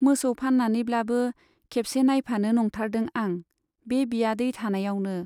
मोसौ फान्नानैब्लाबो खेबसे नाइफानो नंथारदों आं, बे बियादै थानायावनो।